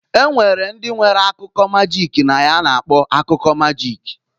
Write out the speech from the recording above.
Enwere ndi nwere akụkọ magik na ya a na-akpọ akụkọ magik.